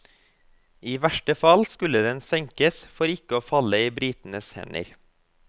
I verste fall skulle den senkes for ikke å falle i britenes hender.